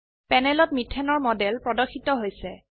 প্যানেলত মিথেন এৰ মডেল প্ৰদৰ্শিত হৈছে